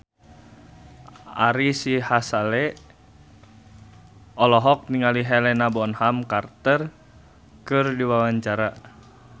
Ari Sihasale olohok ningali Helena Bonham Carter keur diwawancara